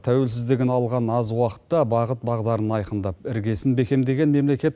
тәуелсіздігін алған аз уақытта бағыт бағдарын айқындап іргесін бекемдеген мемлекет